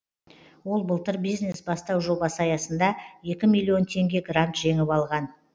ол былтыр бизнес бастау жобасы аясында екі миллион теңге грант жеңіп алған